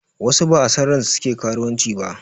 Wasu ba a son ransu suke karuwanci ba